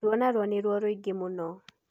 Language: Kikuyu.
Ruo naruo nĩ ruo rũingĩ mũno.